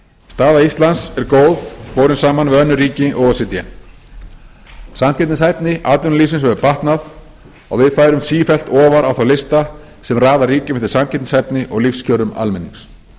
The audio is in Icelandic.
staða íslands er góð borið saman við önnur ríki o e c d samkeppnishæfni atvinnulífsins hefur batnað og við færumst sífellt ofar á þá lista sem raða ríkjum eftir samkeppnishæfni og lífskjörum almennings